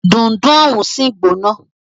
Dundun òun sì gbóná.